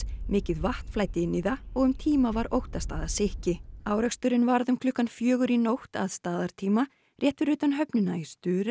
mikið vatn flæddi inn í það og um tíma var óttast að það sykki áreksturinn varð um klukkan fjögur í nótt að staðartíma rétt fyrir utan höfnina í